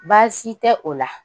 Baasi tɛ o la.